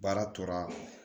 Baara tora